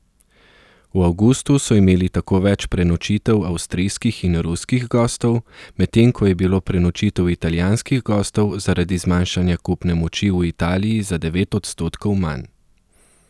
V avgustu so imeli tako več prenočitev avstrijskih in ruskih gostov, medtem ko je bilo prenočitev italijanskih gostov zaradi zmanjšanja kupne moči v Italiji za devet odstotkov manj.